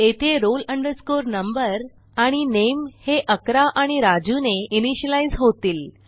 येथे roll number आणि नामे हे 11 आणि राजू ने इनिशियलाईज होतील